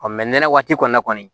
nɛnɛ waati kɔni na kɔni